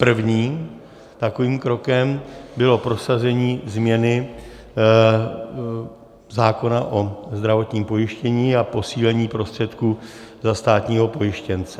Prvním takovým krokem bylo prosazení změny zákona o zdravotním pojištění a posílení prostředků za státního pojištěnce.